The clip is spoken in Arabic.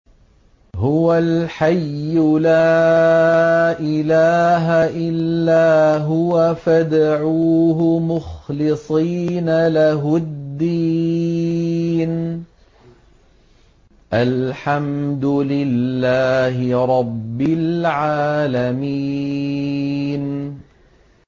هُوَ الْحَيُّ لَا إِلَٰهَ إِلَّا هُوَ فَادْعُوهُ مُخْلِصِينَ لَهُ الدِّينَ ۗ الْحَمْدُ لِلَّهِ رَبِّ الْعَالَمِينَ